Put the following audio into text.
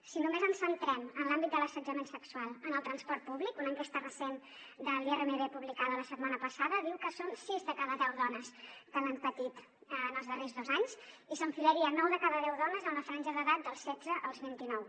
si només ens centrem en l’àmbit de l’assetjament sexual en el transport públic una enquesta recent de l’iermb publicada la setmana passada diu que són sis de cada deu dones que l’han patit en els darrers dos anys i s’enfilaria a nou de cada deu dones en la franja d’edat dels setze als vint i nou